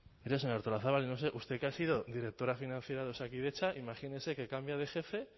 mire señora artolazabal yo no sé usted que ha sido directora financiera de osakidetza imagínese que cambia de jefe